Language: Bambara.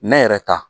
Nɛ yɛrɛ ta